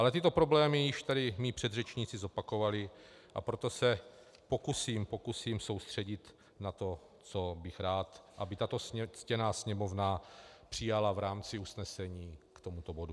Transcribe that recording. Ale tyto problémy již tady mí předřečníci zopakovali, a proto se pokusím soustředit na to, co bych rád, aby tato ctěná Sněmovna přijala v rámci usnesení k tomuto bodu.